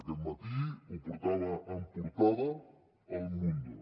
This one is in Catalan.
aquest matí ho portava en portada el mundo